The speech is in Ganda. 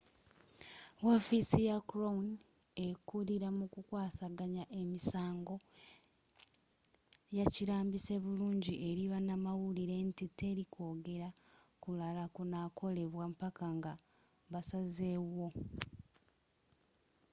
w'offisi ya crown ekulila mu ku kwasaganya emisango yakilambise bulungi eri banamawulire nti teli kwogere kulala kunakolebwa mpaka nga basaze wo